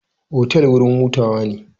Otal wurin hutawa ne.